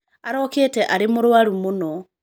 Araũkĩte arĩ mũrũaru mũno.